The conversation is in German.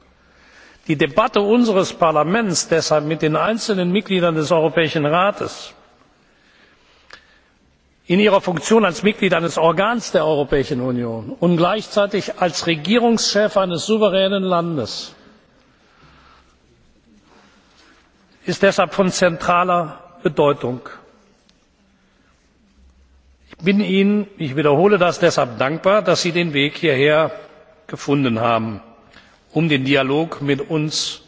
Deshalb ist die Debatte unseres Parlaments mit den einzelnen Mitgliedern des Europäischen Rates in ihrer Funktion als Mitglied eines Organs der Europäischen Union und gleichzeitig als Regierungschef eines souveränen Landes von zentraler Bedeutung. Ich bin Ihnen ich wiederhole das deshalb dankbar, dass Sie den Weg hierher gefunden haben, um den Dialog mit